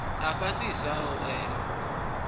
a fhasisa a u ela